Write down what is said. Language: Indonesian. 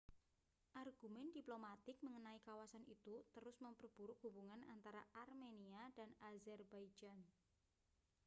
argumen diplomatik mengenai kawasan itu terus memperburuk hubungan antara armenia dan azerbaijan